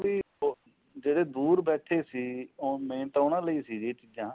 ਇਹ ਸੀ ਵੀ ਜਿਹੜੇ ਦੂਰ ਬੈਠੇ ਸੀ main ਤਾਂ ਉਹਨਾਂ ਲਈ ਸੀ ਇਹ ਚੀਜਾਂ